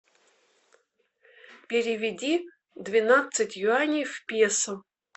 переведи двенадцать юаней в песо